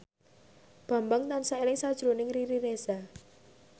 Bambang tansah eling sakjroning Riri Reza